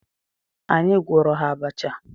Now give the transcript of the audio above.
Anyị gwọọrọ ha abacha.